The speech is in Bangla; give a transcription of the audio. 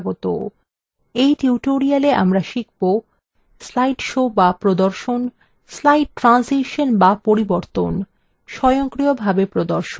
tutorial আমরা শিখব : slide shows shows প্রদর্শন slide ট্রানসিসন shows পরিবর্তন স্বয়ংক্রিয়ভাবে প্রদর্শন